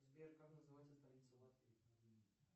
сбер как называется столица латвии